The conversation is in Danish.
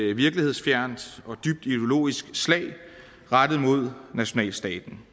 et virkelighedsfjernt og dybt ideologisk slag rettet mod nationalstaten